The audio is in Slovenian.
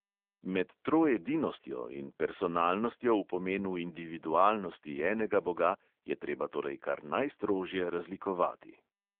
Med troedinostjo in personalnostjo v pomenu individualnosti enega boga je treba torej kar najstrožje razlikovati.